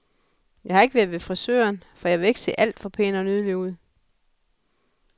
Jeg har ikke været ved frisøren, for jeg vil ikke se alt for pæn og nydelig ud.